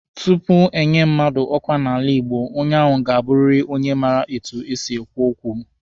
Tupu enye mmadụ ọkwa n'ala Igbo, onye ahụ ga-abụrịrị onye maara etu esi ekwu okwu.